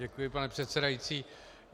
Děkuji, paní předsedající.